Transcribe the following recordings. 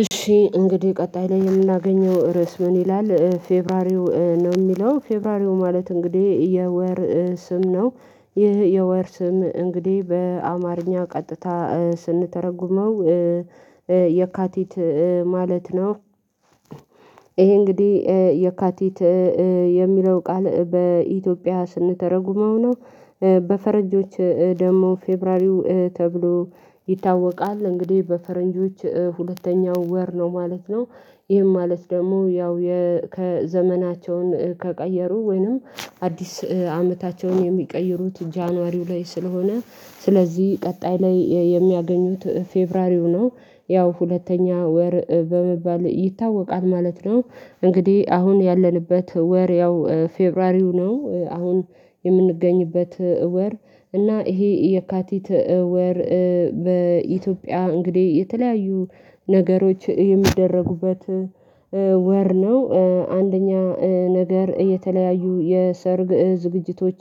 እሺ እንግዲህ ቀጣይ ላይ የምናገኘው ርዕስ ምን ይላል? ፌብራሪው ነው የሚለው፤ ፌብራሪው ማለት እንግዲህ የወር ስም ነው። ይህ የወር ስም እንግዲህ በአማርኛ ቀጥታ ስንተረጉመው የካቲት ማለት ነው። ይሄ እንግዲህ የካቲት የሚለው ቃል በኢትዮጵያ ስንተረጉመው ነው። በፈረንጆች ደግሞ ፌብሩዋሪው ተብሎ ይታወቃል እንግዲህ በፈረንጆች ሁለተኛው ወር ነው ማለት ነው፤ ይህም ማለት ደግሞ ያው ከዘመናቸውን ከቀየሩ ወይንም አዲስ አመታቸውን የሚቀይሩት ጃንዋሪው ላይ ስለሆነ ስለዚህ ቀጣይ ላይ የሚያገኙት ፌብሩዋሪው ነው። ያው ሁለተኛ ወር በመባል ይታወቃል ማለት ነው። እንግዲህ አሁን ያለንበት ወር ያው ፌብሩዋሪው ነው አሁን የምንገኝበት ወር እና ይሄ የካቲት ወር በኢትዮጵያ እንግዲህ የተለያዩ ነገሮች የሚደረጉበት ወር ነው፤ አንደኛ ነገር የተለያዩ የሰርግ ዝግጅቶች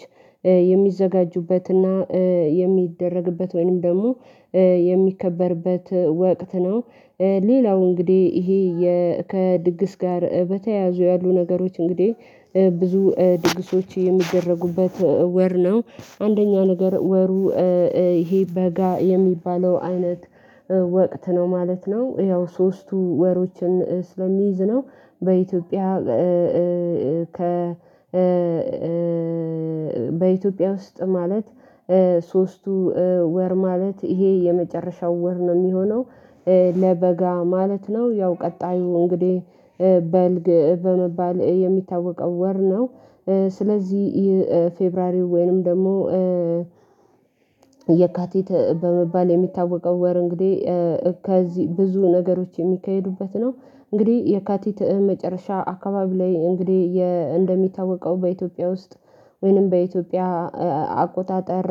የሚዘጋጁበትና የሚደረግበት ወይንም ደግሞ የሚከበርበት ወቅት ነው፤ ሌላው እንግዲህ ይሄ ከድግስ ጋር በተያያዙ ያሉ ነገሮች እንግዲህ ብዙ ድግሶች የሚደረጉበት ወር ነው። አንደኛ ነገር ወሩ ይሄ በጋ የሚባለው አይነት ወቅት ነው ማለት ነው ያው ሶስቱ ወሮችን ስለሚይዝ ነው። በኢትዮጵያ ከ በኢትዮጵያ ውስጥ ማለት ሶስቱ ወር ማለት ይሄ የመጨረሻው ወር ነው የሚሆነው። ለበጋ ማለት ነው ያው ቀጣዩ እንግዲህ በልግ በመባል የሚታወቀው ወር ነው። ስለዚህ ፌብሩዋሪው ወይንም ደግሞ የካቲት በመባል የሚታወቀው ወር እንግዲህ ከዚህ ብዙ ነገሮች የሚካሄዱበት ነው። እንግዲህ የካቲት መጨረሻ አካባቢ ላይ እንግዲህ እንደሚታወቀው በኢትዮጵያ ውስጥ ወይንም በኢትዮጵያ አቆጣጠር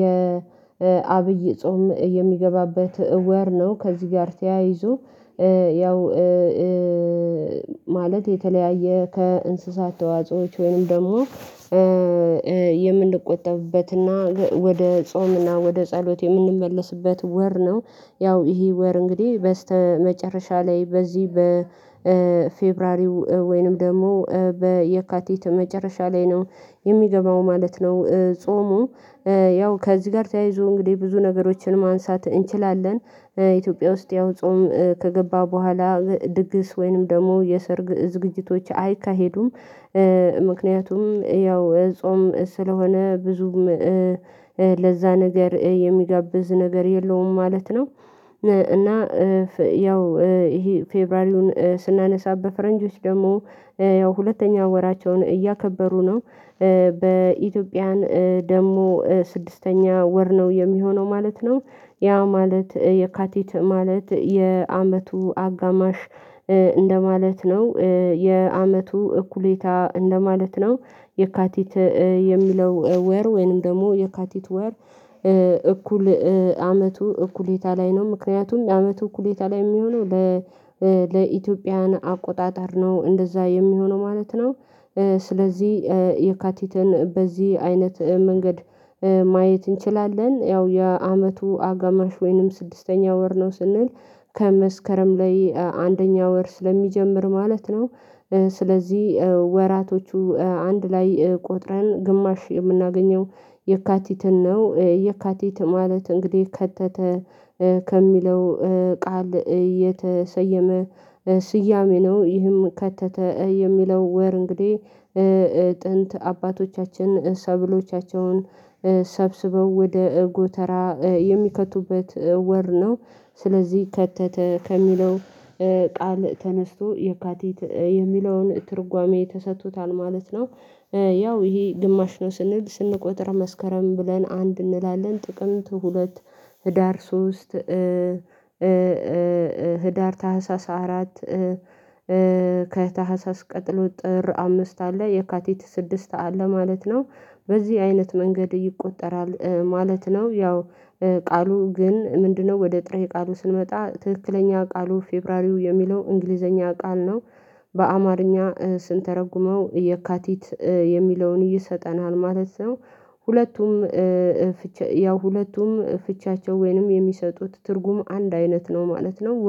የአብይ ጾም የሚገባበት ወር ነው። ከዚህ ጋር ተያይዞ ያው ማለት የተለያየ ከእንስሳት ተዋጾዎች ወይም ደግሞ የምንቆጠብበትና ወደ ጾምና ወደ ጸሎት የምንመለስበት ወር ነው። ያው ይሄ ወር እንግዲህ በስተመጨረሻ ላይ በዚህ በፌብራሪው ወይንም ደግሞ በየካቲት መጨረሻ ላይ ነው የሚገባው ማለት ነው ጾሙ፤ ያው ከዚህ ጋር ተያይዞ እንግዲህ ብዙ ነገሮችን ማንሳት እንችላለን። ኢትዮጵያ ውስጥ ያው ጾም ከገባ በኋላ ድግስ ወይንም ደግሞ የሰርግ ዝግጅቶች አይካሄዱም። ምክንያቱም ያው ጾም ስለሆነ ብዙም ለዛ ነገር የሚጋብዝ ነገር የለውም ማለት ነው። እና ያው ይሄ ፌብራሪውን ስናነሳ በፈረንጆች ደግሞ ያው ሁለተኛ ወራቸውን እያከበሩ ነው፤ በኢትዮጵያን ደግሞ ስድስተኛ ወር ነው የሚሆነው ማለት ነው። ያ ማለት የካቲት ማለት የአመቱ አጋማሽ እንደማለት ነው የአመቱ እኩሌታ እንደማለት ነው። የካቲት የሚለው ወር ወይንም ደግሞ የካቲት ወር እኩል አመቱ እኩሌታ ላይ ነው ምክንያቱም የአመቱ እኩሌታ ላይ የሚሆነው ለ ለኢትዮጵያን አቆጣጠር ነው እንደዛ የሚሆነው ማለት ነው፤ ስለዚህ የካቲትን በዚህ አይነት መንገድ ማየት እንችላለን ያው የአመቱ አጋማሽ ወይንም ስድስተኛ ወር ነው ስንል ከመስከረም ላይ አንደኛ ወር ስለሚጀምር ማለት ነው። ስለዚህ ወራቶቹ አንድ ላይ ቆጥረን ግማሽ የምናገኘው የካቲትን ነው። የካቲት ማለት እንግዲህ ከተተ ከሚለው ቃል የተሰየመ ስያሜ ነው፤ ይህም ከተተ የሚለው ወር እንግዲህ ጥንት አባቶቻችን ሰብሎቻቸውን ሰብስበው ወደ ጎተራ የሚከቱበት ወር ነው። ስለዚህ ከተተ ከሚለው ቃል ተነስቶ የካቲት የሚለውን ትርጓሜ ተሰጥቶታል ማለት ነው፤ ያው ይሄ ግማሽ ነው ስንል ስንቆጥር መስከረም ብለን አንድ እንላለን ጥቅምት ሁለት ህዳር ሶስት ህዳር ታህሳስ አራት ከታህሳስ ቀጥሎ ጥር አምስት አለ የካቲት ስድስት አለ ማለት ነው። በዚህ አይነት መንገድ ይቆጠራል ማለት ነው። ያው ቃሉ ግን ምንድነው? ወደ ጥሬ ቃሉ ስንመጣ ትክክለኛ ቃሉ ፌብሩዋሪው የሚለው እንግሊዘኛ ቃል ነው፤ በአማርኛ ስንተረጉመው የካቲት የሚለውን ይሰጠናል ማለት ነው። ሁለቱም ያው ሁለቱም ፍቻቸው ወይንም የሚሰጡት ትርጉም አንድ አይነት ነው ማለት ነው፤